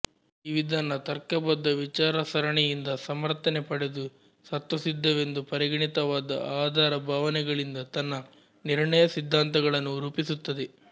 ಈ ವಿಧಾನ ತರ್ಕಬದ್ಧ ವಿಚಾರಸರಣಿ ಯಿಂದ ಸಮರ್ಥನೆ ಪಡೆದು ಸ್ವತಸ್ಸಿದ್ಧವೆಂದು ಪರಿಗಣಿತವಾದ ಆಧಾರಭಾವನೆಗಳಿಂದ ತನ್ನ ನಿರ್ಣಯ ಸಿದ್ಧಾಂತಗಳನ್ನು ರೂಪಿಸುತ್ತದೆ